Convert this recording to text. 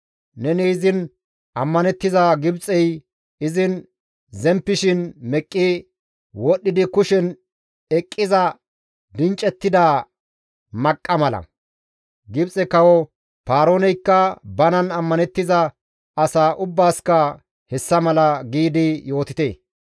Neni izin ammanettiza Gibxey izin zemppishin meqqi wodhdhidi kushen eqqiza dinccettida maqqa mala; Gibxe kawo Paarooneykka banan ammanettiza asa ubbaasikka hessa mala› giidi yootite.